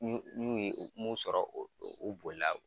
N'u n'u ye mun sɔrɔ u u boli la